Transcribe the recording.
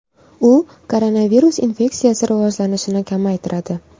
U koronavirus infeksiyasi rivojlanishini kamaytiradi.